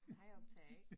Hej optager A